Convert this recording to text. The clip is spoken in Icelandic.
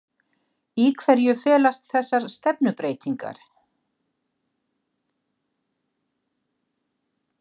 Í hverju felast þessar stefnubreytingar